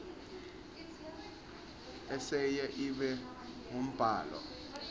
eseyi ibe ngumbhalo